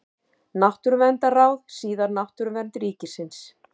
Náttúruverndarráð, síðar Náttúruvernd ríkisins.